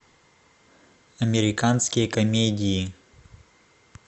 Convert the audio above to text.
американские комедии